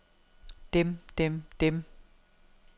dem dem dem